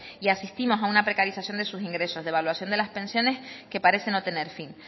y asistimos a una precarización de sus ingresos devaluación de las pensiones que parece no tener fin